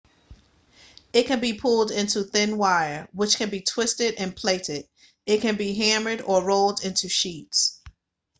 it can be pulled into thin wire which can be twisted and plaited it can be hammered or rolled into sheets